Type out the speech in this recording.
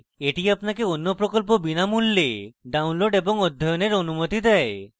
এটি আপনাকে অন্য প্রকল্প বিনামূল্যে download এবং অধ্যয়ন করার অনুমতি দেয়